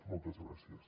moltes gràcies